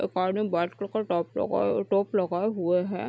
एक आदमी white colour का डॉक्टरों का टॉप लगाये हुए है।